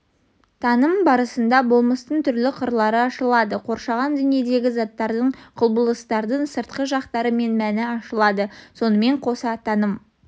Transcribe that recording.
таным барысында болмыстың түрлі қырлары ашылады қоршаған дүниедегі заттардың құбылыстардың сыртқы жақтары мен мәні ашылады сонымен қоса таным